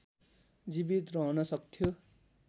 जीवित रहन सक्थ्यो